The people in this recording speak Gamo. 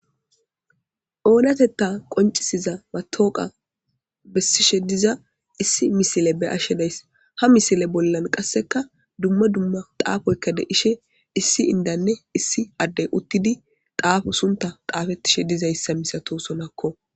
Oonatetha qonc'isiza matoqa besishe diza issi misile beyashe days. Ha misile bollan qaseka duma duma xaafoyka de'ishin issi indanne issi addey uttidi xaafo suntha xaafetishe dizaysa misatosonako.